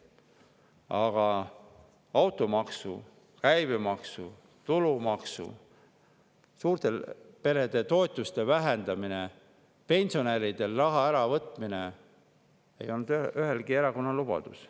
Aga automaks, käibemaksu ja tulumaksu, suurte perede toetuste vähendamine ning pensionäridelt raha äravõtmine ei olnud ühegi erakonna lubadus.